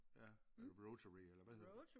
Ja er det Rotary eller hvad hedder?